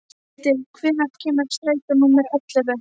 Trausti, hvenær kemur strætó númer ellefu?